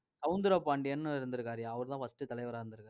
சௌந்தரபாண்டியன்னு இருந்திருக்காருய்யா. அவருதான் first தலைவரா இருந்~